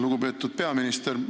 Lugupeetud peaminister!